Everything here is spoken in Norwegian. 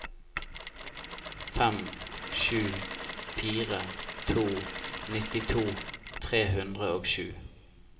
fem sju fire to nittito tre hundre og sju